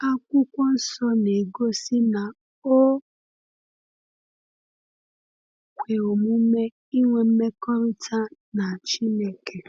Akwụkwọ Nsọ na-egosi na o kwe omume ịnwe mmekọrịta na Chineke.